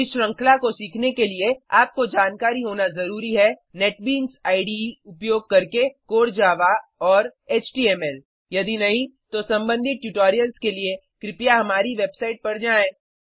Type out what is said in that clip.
इस श्रृंखला को सीखने के लिए आपको जानकारी होना ज़रूरी है नेटबीन्स इडे उपयोग करके कोर जावा और एचटीएमएल यदि नहीं तो सम्बंधित ट्यूटोरियल्स के लिए कृपया हमारी वेबसाइट पर जाएँ